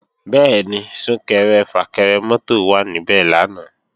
Bẹ́ẹ̀ni, Sún-kẹrẹ-fà-kẹrẹ mọ́tò wà níbẹ̀ lánàá